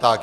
Tak.